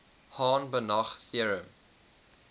hahn banach theorem